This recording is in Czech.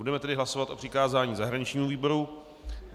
Budeme tedy hlasovat o přikázání zahraničnímu výboru.